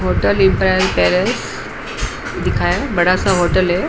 Hotel Ibrahim palace दिखा है। बड़ा सा होटल है।